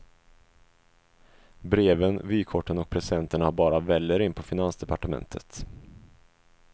Breven, vykorten och presenterna bara väller in på finansdepartementet.